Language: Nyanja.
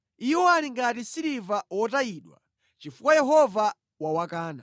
Iwo ali ngati siliva wotayidwa, chifukwa Yehova wawakana.”